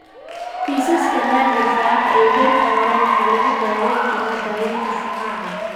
Kiisaska naadirka ah ee heerka hore ee mantle cell lymphomas waxaa lagu daweyn karaa daawaynta shucaaca.